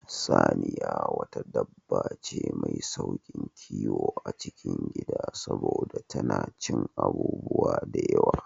Saniya wata dabba ce mai sauƙin kiwo a cikin Gida saboda tana cin abubuwa da yawa